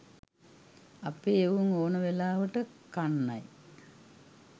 අපේ එවුන් ඕන වෙලාවට කන්නයි